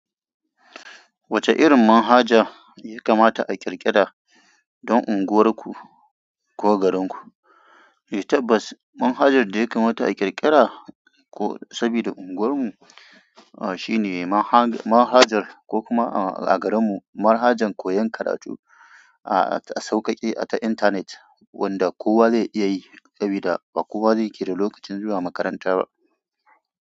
Wace irin manhaja ya kamata a ƙir ƙira don unguwarku ko garinku? Eh tabbas manhajar da ya kamata a ƙirƙira sabida unguwarmu shine manhajar ko kuma a garinmu, manhajar koyan karatu sauƙaƙe a internet wanda kowa zai iya yi sabida ba kowa zai kida lokacin zuwa makaranta ba.